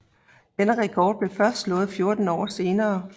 Denne rekord blev først slået 14 år senere